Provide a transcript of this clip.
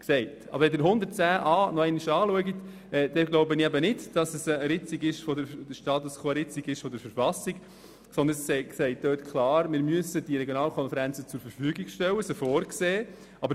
Wenn Sie den Artikel 110 Buchstabe a nochmals anschauen, glaube ich nicht, dass es eine Ritzung des Status quo der KV stattfindet, sondern es wird klar aufgezeigt, dass Regionalkonferenzen zur Verfügung gestellt werden müssen, weil sie vorzusehen sind.